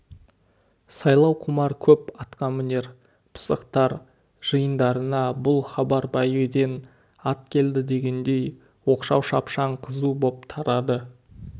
сайлауқұмар көп атқамінер пысықтар жиындарына бұл хабар бәйгіден ат келді дегендей оқшау шапшаң қызу боп тарады